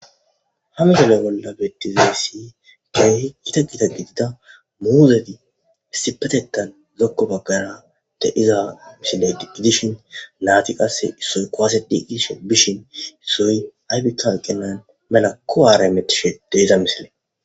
Hangele bolla beetiziyy si geey ita gida gidida muuzedi istipetetan lokko baggara de iza misile di gidishin naati qasse issoy qoased iisho bishin issoy aybikka eqqenan melakko aarametishe de iza misile.